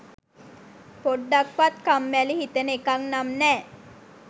පොඩ්ඩක්වත් කම්මැලි හිතෙන එකක් නම් නෑ.